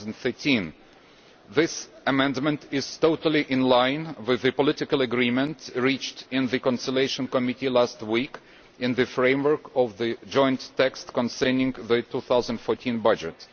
2013. This amendment is totally in line with the political agreement reached in the Conciliation Committee last week in the framework of the joint text concerning the 2014 budget.